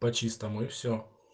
по-чистому и все